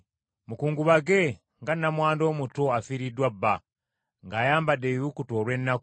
Mukungubage nga nnamwandu omuto afiiriddwa bba, ng’ayambadde ebibukutu olw’ennaku.